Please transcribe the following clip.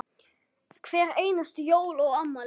Hver einustu jól og afmæli.